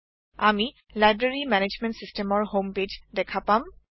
আমি library management চিচটেমৰ home page দেখা পাম